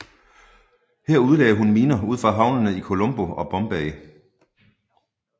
Her udlagde hun miner ud for havnene i Colombo og i Bombay